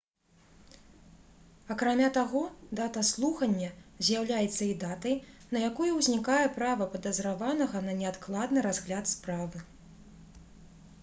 акрамя таго дата слухання з'яўляецца і датай на якую ўзнікае права падазраванага на неадкладны разгляд справы